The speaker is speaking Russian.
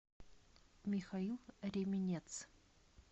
михаил ременец